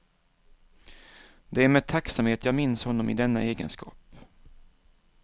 Det är med tacksamhet jag minns honom i denna egenskap.